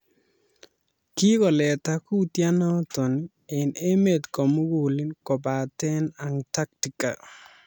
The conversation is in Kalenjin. Kikoleeta kuutianot eng emet komugul kobate Antarctica.